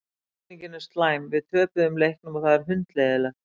Tilfinningin er slæm, við töpuðum leiknum og það er hundleiðinlegt.